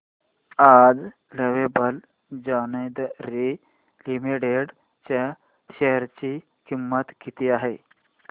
आज lovable lingerie limited च्या share ची किंमत किती आहे